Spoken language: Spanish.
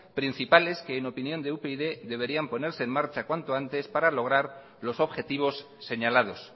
principales que en opinión de upyd deberían ponerse en marcha cuando antes para lograr los objetivosseñalados